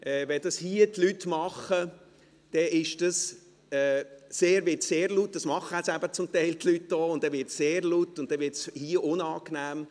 Wenn das die Leute hier unten im Saal machen, und sie machen es eben zum Teil, wird es sehr laut, und es wird hier unangenehm.